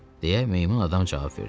deyə meymun adam cavab verdi.